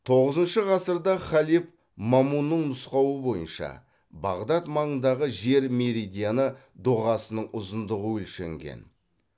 тоғызыншы ғасырда халиф мамунның нұсқауы бойынша бағдат маңындағы жер меридианы доғасының ұзындығы өлшенген